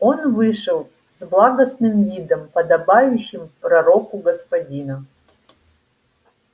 он вышел с благостным видом подобающим пророку господина